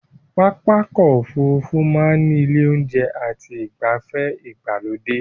Pápá ọkọ̀ Òfurufú máa ní ilé oúnjẹ àti igbafe ìgbàlódé